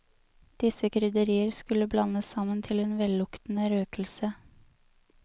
Disse krydderier skulle blandes sammen til en velluktende røkelse.